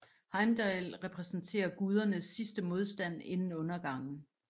Heimdall repræsenterer gudernes sidste modstand inden undergangen